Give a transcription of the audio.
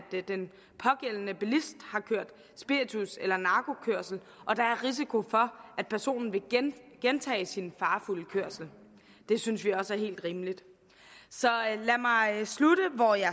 den pågældende bilist har kørt spiritus eller narkokørsel og der er risiko for at personen vil gentage sin farefulde kørsel det synes vi også er helt rimeligt så lad mig slutte hvor jeg